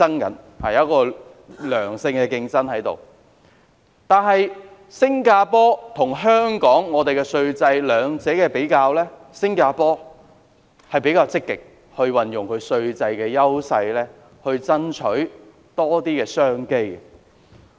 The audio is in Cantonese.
我們如果比較香港和新加坡兩地的稅制，會發現新加坡比較積極運用稅制的優勢，以爭取更多商機。